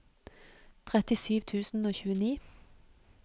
trettisju tusen og tjueni